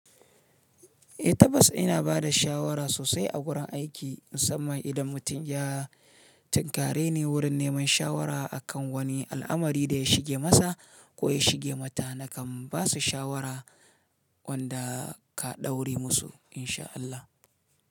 Eh tabbas ina bada shawara sosai a gurin aiki musamman idan mutum ya tinkare ni wurin neman shawara akan wani al'amari da ya shige masa ko ya shige mata nakan basu shawara wanda ka ɗaure musu insha Allah.